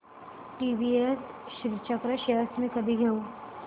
TVS Srichakra shares मी कधी घेऊ